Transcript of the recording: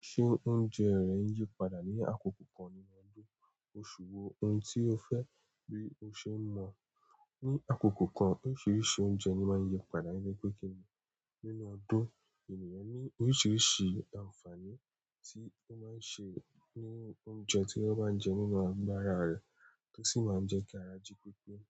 Ṣé oúnjẹ rẹ n yípadà ní àkókò kan nínú ọdún? Oṣù wo, ohun tí o fẹ́ bí o ṣe n mọ̀. Ni àkókò kan oríṣiríṣi oúnjẹ ni máa ń yípadà nítoripé kíní nínú ọdún ènìyàn ní oríṣiríṣi àǹfààní tí ó máa ń ṣe ní oúnjẹ tí wọ́n bá ń jẹ nínú agbára rẹ̀ to sì máa ń jẹ́ kí ara jí pípé.